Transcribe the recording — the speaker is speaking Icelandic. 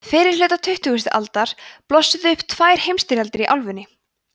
fyrri hluta tuttugustu aldar blossuðu upp tvær heimsstyrjaldir í álfunni